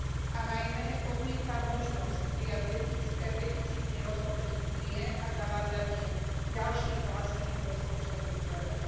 A najmä odmietam možnosť prijať deficitný rozpočet Únie a zavádzanie ďalších vlastných rozpočtových zdrojov.